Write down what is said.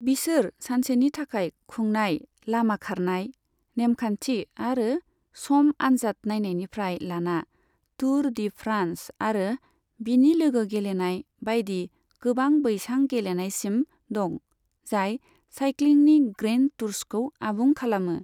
बिसोर सानसेनि थाखाय खुंनाय लामा खारनाय, नेमखान्थि आरो सम आन्जाद नायनायनिफ्राय लाना टुर डी फ्रान्स आरो बिनि लोगो गेलेनाय बायदि गोबां बैसां गेलेनायसिम दं, जाय साइक्लिंनि ग्रैण्ड टुर्सखौ आबुं खालामो।